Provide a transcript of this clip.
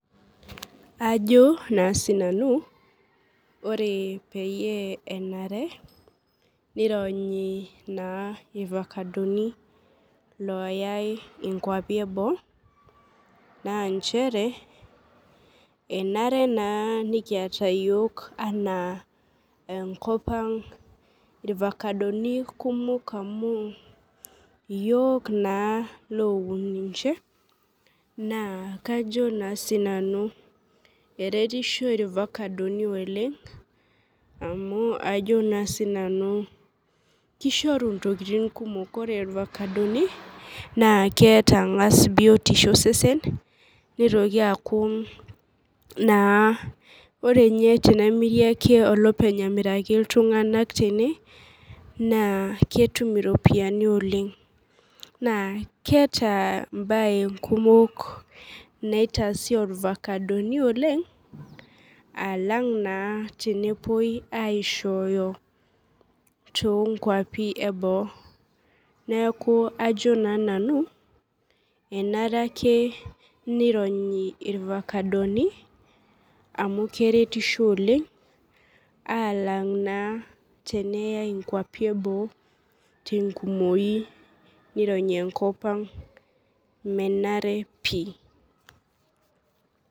Ajo naa sinanu ore peyie enare nironyi naa ivakadoni loyae inkuapi eboo naa nchere enare naa nikiata yiok anaa enkop ang irvakadoni kumok amu iyiok naa loun ninche naa kajo naa sinanu eretisho irvakadoni oleng amu ajo naa sinanu kishoru intokiting kumok ore irvakadoni naa keeta ang'as biotisho osesen nitoki aaku naa ore inye tenemiri ake olopeny amiraki iltung'anak tene naa ketum iropiani oleng naa keeta embaye nkumok naitasi orvakadoni oleng alang naa tenepuoi aishooyo tonkuapi eboo neeku ajo naa nanu enare ake nironyi irvakadoni amu keretisho oleng alang naa teneyae inkuapi eboo tenkumoki nironyi enkop ang menare pii.